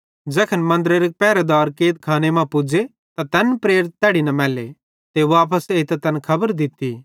ज़ैखन मन्दरेरे पेरहेदार कैदखाने मां पुज़े त तैन प्रेरित तैड़ी न मैल्ले ते वापस एइतां तैन खबर दित्ती